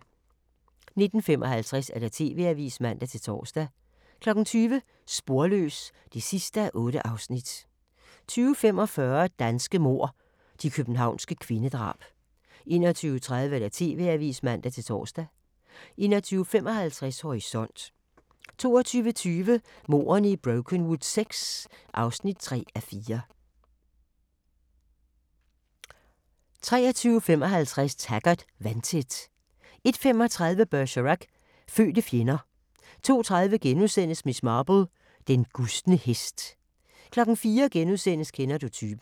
19:55: TV-avisen (man-tor) 20:00: Sporløs (8:8) 20:45: Danske mord – De københavnske kvindedrab 21:30: TV-avisen (man-tor) 21:55: Horisont 22:20: Mordene i Brokenwood VI (3:4) 23:55: Taggart: Vandtæt 01:35: Bergerac: Fødte fjender 02:30: Miss Marple: Den gustne hest * 04:00: Kender du typen? *